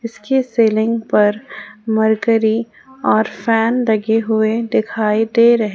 इसके सीलिंग पर मरकरी और फैन लगे हुए दिखाई दे रहे ।